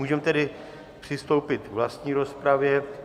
Můžeme tedy přistoupit k vlastní rozpravě.